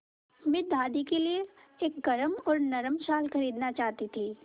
मैं दादी के लिए एक गरम और नरम शाल खरीदना चाहती थी